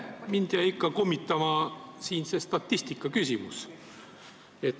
Mind jäi ikka kummitama siin see statistikaküsimus.